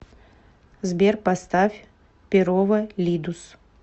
сбер поставь перово лидус